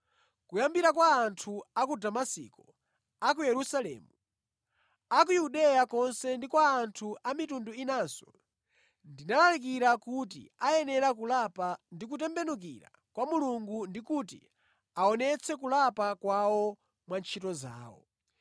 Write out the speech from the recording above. Kuyambira kwa anthu a ku Damasiko, a ku Yerusalemu, a ku Yudeya konse ndi kwa anthu a mitundu inanso, ndinalalikira kuti akuyenera kulapa ndi kutembenukira kwa Mulungu ndikuti aonetse kulapa kwawo mwa ntchito zawo.